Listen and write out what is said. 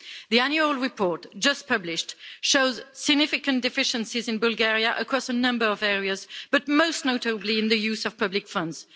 The annual report just published shows significant deficiencies in Bulgaria across a number of areas, but most notably in the use of public funds.